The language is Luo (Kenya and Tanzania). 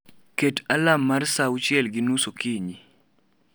Ket alarm mar saa 12:30 okinyi